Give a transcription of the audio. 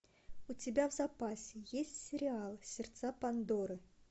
у тебя в запасе есть сериал сердца пандоры